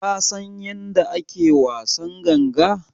Ka San yanda ake wasan ganga?